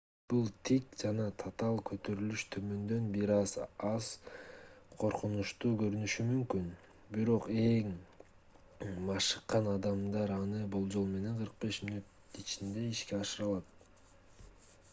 бул тик жана татаал көтөрүлүш төмөндөн бир аз коркунучтуу көрүнүшү мүмкүн бирок эң машыккан адамдар аны болжол менен 45 мүнөттүн ичинде ишке ашыра алат